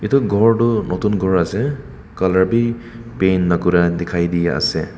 etu ghor tu notun ghor ase colour bhi paint na kora dikhai di ase.